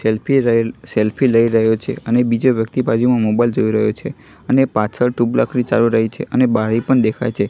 Selfie રહેલ selfie લઇ રહ્યો છે અને બીજા વ્યક્તિ બાજુમાં મોબાઈલ જોઇ રહ્યો છે અને પાછળ ચાલુ રઇ છે અને બારી પણ દેખાઈ છે.